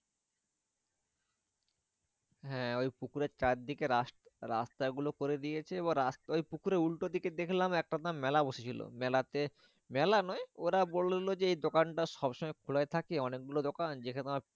হ্যাঁ ওই পুকুরের চারদিকে রাস্ রাস্তাগুলো করে দিয়েছে। বা রাস্তা ওই পুকুরের উল্টো দিকে দেখলাম একটা তা মেলা বসেছিল। মেলাতে মেলা নয় ওরা বললো যে এই দোকানটা সবসময় খোলাই থাকে অনেকগুলো দোকান। যেটা তোমার